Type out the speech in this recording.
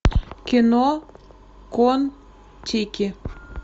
кино кон тики